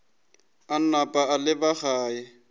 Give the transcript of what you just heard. a napa a leba gae